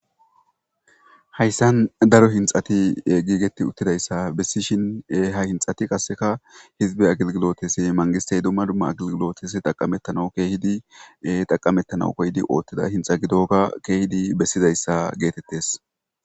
Haysan daro hinxati giigetidi uttidaysa besishin,Ha hinxati qasseka hizbe agilgilotes mangistey dumma dumma agilgilotetas xaqametanas,mangistey keehippe oothizaysa bessdes.